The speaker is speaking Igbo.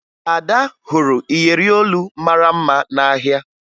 Ada hụrụ iyeri olu mara mma n'ahịa